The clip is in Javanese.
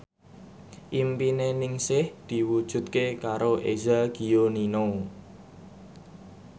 impine Ningsih diwujudke karo Eza Gionino